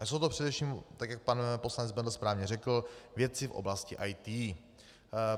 A jsou to především, tak jak pan poslanec Bendl správně řekl, věci v oblasti IT.